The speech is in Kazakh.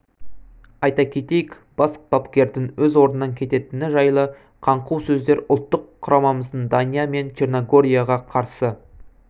айта кетейік бас бапкердің өз орнынан кететіні жайлы қаңқу сөздер ұлттық құрамамыз дания мен черногорияға қарсы